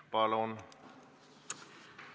Palun!